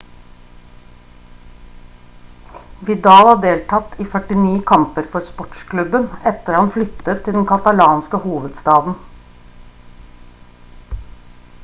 vidal har deltatt i 49 kamper for sportsklubben etter han flyttet til den katalanske hovedstaden